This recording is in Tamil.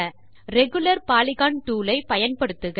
ரெகுலர் பாலிகன் டூல் ஐ பயன்படுத்துக